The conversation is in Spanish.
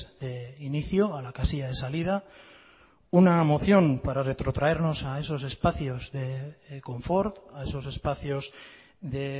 de inicio a la casilla de salida una moción para retrotraernos a esos espacios de confort a esos espacios de